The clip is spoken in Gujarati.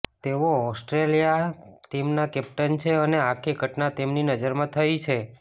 તેઓ ઓસ્ટ્રેલિયા ટીમના કેપ્ટન છે અને આખી ઘટના તેમની નજરમાં થયી છે